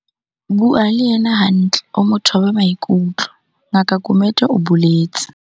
Bua le yena hantle o mo thobe maikutlo, Ngaka Gumede o boletse.